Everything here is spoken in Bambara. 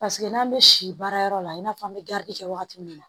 Paseke n'an bɛ si baarayɔrɔ la i n'a fɔ an bɛ garidi kɛ wagati min na